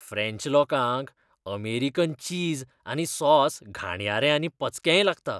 French लोकांक American चीज आनी सॉस घाणयारें आनी पचकेंय लागता.